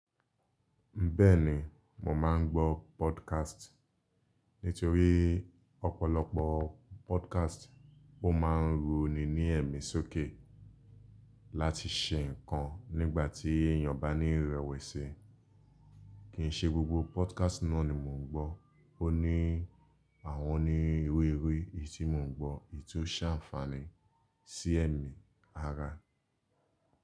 Bẹ́ẹ̀ ni, mò máa ń gbó podcast. Nítorí ọ̀pọ̀lọpọ̀ podcast ó máa ń roní ní ẹ̀mí sókè láti ṣe nǹkan nígbà tí èèyàn bá ní ìrẹ̀wẹ̀sì. Kì í ṣe gbogbo podcast náà ni mò ń gbọ́. Ó ní àwọn onírúurú èyí tí mò ń gbọ́ èyí tó ṣe àǹfààní sí ẹ̀mí ara.